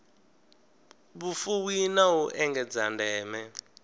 vhufuwi na u engedza ndeme